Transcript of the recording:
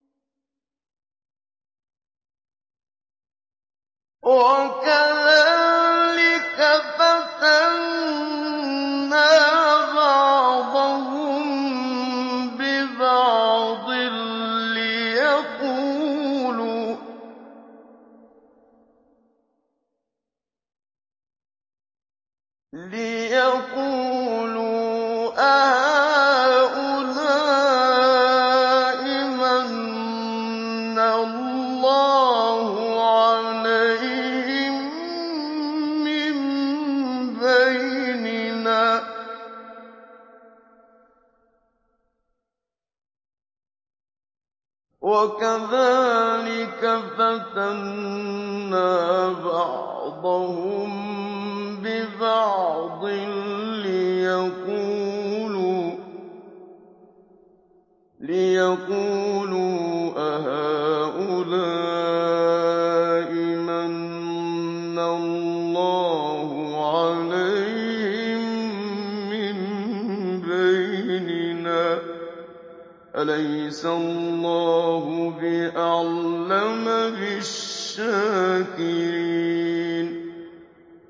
وَكَذَٰلِكَ فَتَنَّا بَعْضَهُم بِبَعْضٍ لِّيَقُولُوا أَهَٰؤُلَاءِ مَنَّ اللَّهُ عَلَيْهِم مِّن بَيْنِنَا ۗ أَلَيْسَ اللَّهُ بِأَعْلَمَ بِالشَّاكِرِينَ